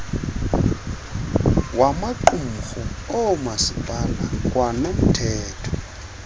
wamaqumrhu oomasipala kwanomthetho